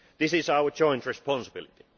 This is our joint responsibility.